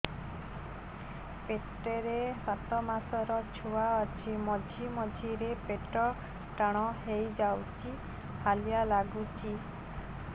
ପେଟ ରେ ସାତମାସର ଛୁଆ ଅଛି ମଝିରେ ମଝିରେ ପେଟ ଟାଣ ହେଇଯାଉଚି ହାଲିଆ ଲାଗୁଚି